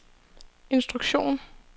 instruktion